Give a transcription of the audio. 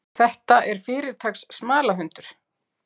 Þetta er fyrirtaks smalahundur.